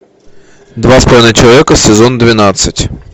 два с половиной человека сезон двенадцать